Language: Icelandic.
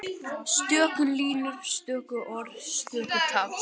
Stöku línur, stöku orð, stöku tafs.